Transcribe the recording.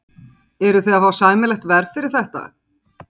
Kristján: Eruð þið að fá sæmilegt verð fyrir þetta?